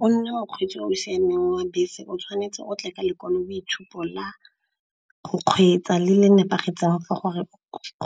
Gore nne o kgweetsa o o siameng wa bese o tshwanetse o tle ke lekwaloitshupo la go kgweetsa le le nepagetseng for